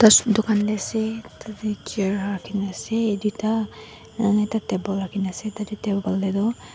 duakn te ase atuke chair rakhi kini ase duita tarta table tarte table tetu--